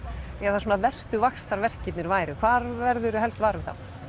eða verstu vaxtarverkirnir væru hvar verður þú helst var við þá